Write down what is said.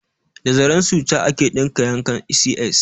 Da zaren suca ake ɗinke yankan CS